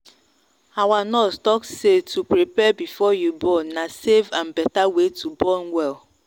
our nurse talk say to prepare before you born na safe and better way to born well.